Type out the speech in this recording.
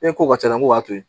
E ko ka ca n ko b'a to yen